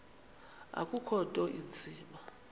akukho nto inzima